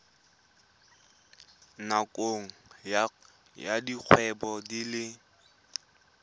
nakong ya dikgwedi di le